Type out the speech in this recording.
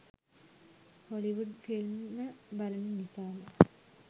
Hollywood film ම බලන නිසාම